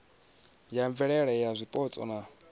ya mvelaphana ya zwipotso na